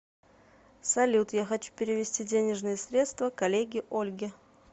салют я хочу перевести денежные средства коллеге ольге